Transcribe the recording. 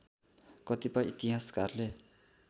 कतिपय इतिहासकारले